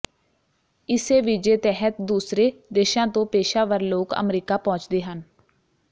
ਇਸੇ ਵੀਜ਼ੇ ਤਹਿਤ ਦੂਸਰੇ ਦੇਸ਼ਾਂ ਤੋਂ ਪੇਸ਼ਾਵਰ ਲੋਕ ਅਮਰੀਕਾ ਪਹੁੰਚਦੇ ਹਨ